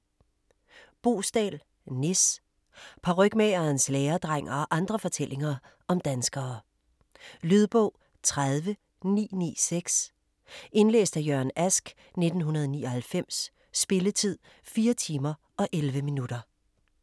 Boesdal, Nis: Parykmagerens læredreng og andre fortællinger om danskere Lydbog 30996 Indlæst af Jørgen Ask, 1999. Spilletid: 4 timer, 11 minutter.